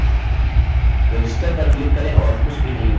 register पर click करें और कुछ भी नहीं हुआ